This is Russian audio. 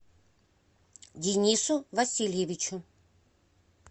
денису васильевичу